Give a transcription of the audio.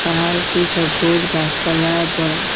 পাহাড়টি সবুজ গাসপালায় বরা ।